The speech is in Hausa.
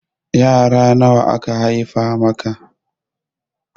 Yara nawa aka haifa maka?